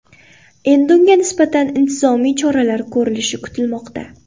Endi unga nisbatan intizomiy choralar ko‘rilishi kutilmoqda.